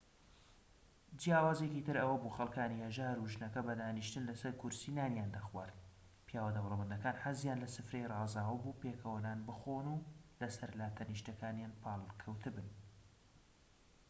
جیاوازیەکی تر ئەوەبوو خەلکانی هەژار و ژنەکە بەدانیشتن لەسەر کورسی نانیان خوارد پیاوە دەوڵەمەندەکان حەزیان لە سفرەی ڕازاوە بوو پێکەوە نان بخۆن و لەسەر لاتەنیشتەکانیان پاڵ کەوتبن